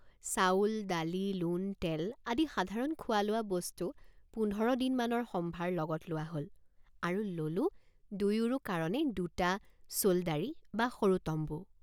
চাউলদালিলোণতেল আদি সাধাৰণ খোৱালোৱা বস্তু পোন্ধৰ দিনমানৰ সম্ভাৰ লগত লোৱা হল আৰু ললোঁ দুয়োৰো কাৰণে দুটা চোল্দাৰী বা সৰু টম্বু।